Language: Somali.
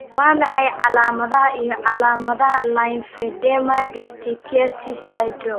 Waa maxay calaamadaha iyo calaamadaha Lymphedema distichiasis syndrome?